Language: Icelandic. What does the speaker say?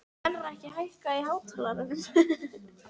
Melrakki, hækkaðu í hátalaranum.